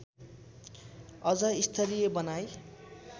अझ स्तरीय बनाई